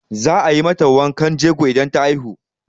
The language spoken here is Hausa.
Za a yi mata wankan jego idan ta haihu.